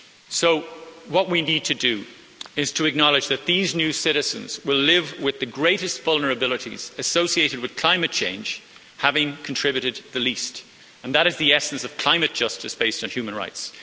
So, what we need to do is to acknowledge that these new citizens will live with the greatest vulnerabilities associated with climate change, having contributed the least, and that is the essence of climate justice based on human rights.